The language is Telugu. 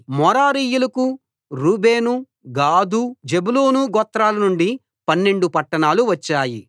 మెరారీయులకు రూబేను గాదు జెబూలూను గోత్రాల నుండి పన్నెండు పట్టణాలు వచ్చాయి